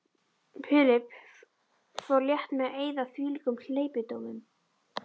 Philip fór létt með að eyða þvílíkum hleypidómum.